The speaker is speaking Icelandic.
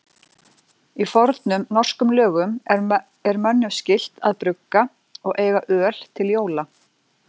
Í fornum norskum lögum er mönnum skylt að brugga og eiga öl til jóla.